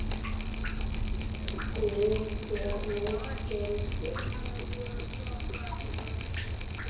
Guð þér nú fylgi.